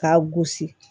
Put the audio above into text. K'a gosi